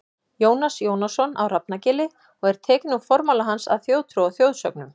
Jónas Jónasson á Hrafnagili og er tekinn úr formála hans að Þjóðtrú og þjóðsögnum.